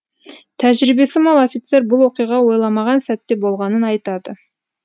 тәжірибесі мол офицер бұл оқиға ойламаған сәтте болғанын айтады